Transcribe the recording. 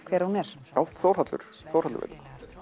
hver hún er já Þórhallur Þórhallur veit